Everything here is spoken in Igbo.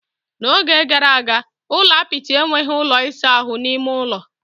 N'oge gara aga, ụlọ apịtị enweghị ụlọ ịsa ahụ n'ime ųlo.